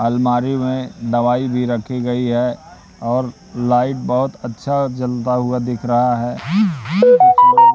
अलमारी में दवाई भी रखी गई है और लाइट बहोत अच्छा जलता हुआ दिख रहा है।